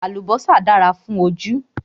Àlùbọ́sà dára fún ojú